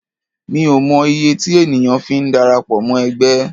Mi ò mọ iye tí ènìyàn fi ń darapọ̀ mọ́ ẹgbẹ́.